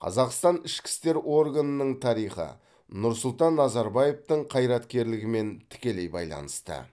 қазақстан ішкі істер органының тарихы нұрсұлтан назарбаевтың қайраткерлігімен тікелей байланысты